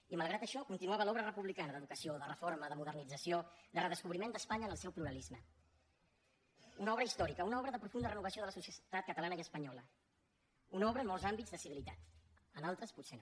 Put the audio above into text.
i malgrat això continuava l’obra republicana d’educació de reforma de modernització de redescobriment d’espanya en el seu pluralisme una obra històrica una obra de profunda renovació de la societat catalana i espanyola una obra en molts àmbits de civilitat en altres potser no